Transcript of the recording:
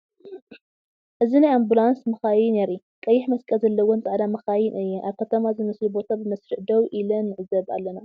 እዚ ናይ ኣምቡላንስ መካይን የርኢ። ቀይሕ መስቀል ዘለወን ፃዕዳ ማካይን እየን ኣብ ከተማ ዝመስል ቦታ ብመስርዕ ደው ኢላንዕዘብ አለና ።